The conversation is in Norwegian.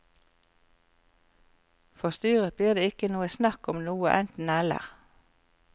For styret blir det ikke noe snakk om noe enten eller.